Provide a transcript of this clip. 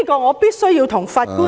我必須要對法官......